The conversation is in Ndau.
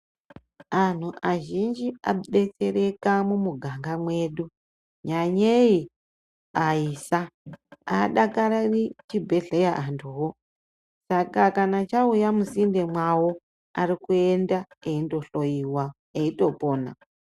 Antu azhinji anobetsereka mumuganga mwedu nyanyei aisa hadakariri chibhedhleya antuvo. Saka kana chauya musinde mwavo arikuenda eindohoiwa eitopona.